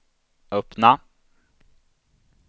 öppna